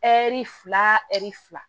Ɛri fila ɛri fila